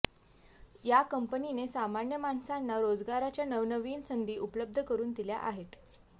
या कंपनीने सामान्य माणसांना रोजगाराच्या नवनवीन संधी उपलब्ध करून दिल्या आहेत